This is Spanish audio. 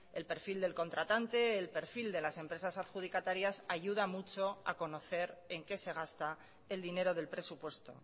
el perfil del contratante el perfil de las empresas adjudicatarias ayuda mucho a conocer en qué se gasta el dinero del presupuesto